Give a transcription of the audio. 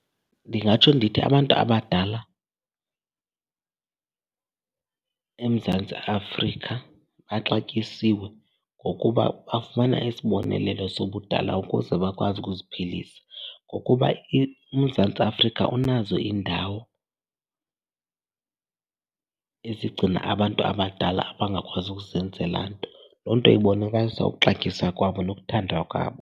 Ndingatsho ndithi abantu abadala eMzantsi Afrika baxatyisiwe ngokuba bafumana isibonelelo sobudala ukuze bakwazi ukuziphilisa. Ngokuba uMzantsi Afrika unazo iindawo ezigcina abantu abadala abangakwazi ukuzenzela nto, loo nto ibonakalisa uxatyiswa kwabo nokuthandwa kwabo.